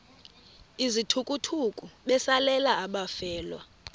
izithukuthuku besalela abafelwa